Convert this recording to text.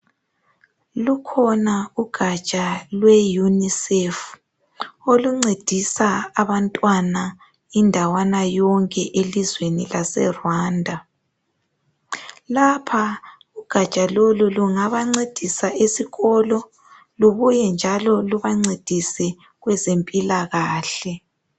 Lukhona ugatsha lwe UNICEF oluncedisa abantwana indawana yonke elizweni laseRwanda. Lapha ugatsha lolu lungabancedisa esikolo lubuye njalo lubancedise kwezempilakahle